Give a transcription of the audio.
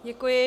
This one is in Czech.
Děkuji.